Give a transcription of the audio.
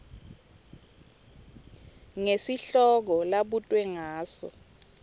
ngesihloko labutwe ngaso